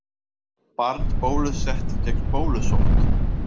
Barn bólusett gegn bólusótt.